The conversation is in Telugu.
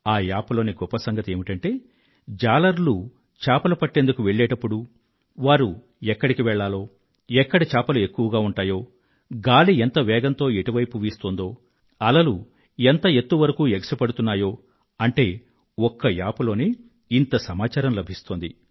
ఆ యాప్ లోని గొప్ప సంగతి ఏమిటంటే జాలరులు చేపలు పట్టేందుకు వెళ్ళేప్పుడు వారు ఎక్కడికి వెళ్ళాలో ఎక్కడ చేపలు ఎక్కువ ఉంటాయో గాలి ఎంత వేగంతో ఎటువైపు వీస్తోందో అలలు ఎంత ఎత్తు వరకూ ఎగసిపడుతున్నాయో అంటే ఒక్క యాప్ లోనే ఇంత సమాచారం లభిస్తోంది